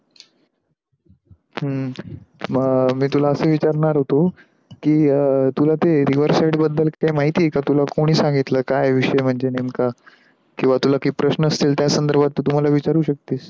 आह हम्म मी तुला आस विचारणार होतो, की तुला ते rever side बदल काही माहिती आहे का? तुला कोणी सांगितल काय विषय म्हणजे नेमका, किवा तुला काई प्रश्न असतेल त्या संधरभात तू मला विचारू शक्तीस.